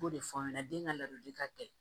B'o de fɔ aw ɲɛna den ka ladili ka kɛ